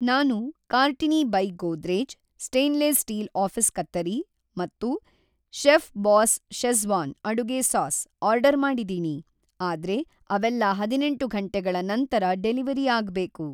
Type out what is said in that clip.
ನಾನು Cartini by Godrej stainless steel office ಕತ್ತರಿ ಮತ್ತು ಚೆಫ್‌ಬಾಸ್ ಷೆಝ಼್ವಾನ್ ಅಡುಗೆ ಸಾಸ್ ಆರ್ಡರ್‌ ಮಾಡಿದೀನಿ, ಆದ್ರೆ ಅವೆಲ್ಲಾ ಹದಿನೆಂಟು ಘಂಟೆಗಳ ನಂತರ ಡೆಲಿವರಿ ಆಗ್ಬೇಕು.